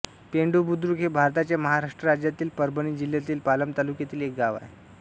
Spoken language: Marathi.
पेंडुबुद्रुक हे भारताच्या महाराष्ट्र राज्यातील परभणी जिल्ह्यातील पालम तालुक्यातील एक गाव आहे